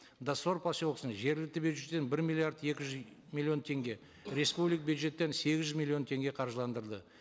доссор поселкесіне жергілікті бюджеттен бір миллиард екі жүз миллион теңге бюджеттен сегіз жүз миллион теңге қаржыландырды